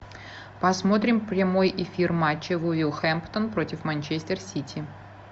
посмотрим прямой эфир матча вулверхэмптон против манчестер сити